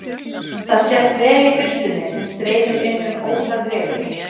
Það sést vel í birtunni sem streymir inn um ótal rifur.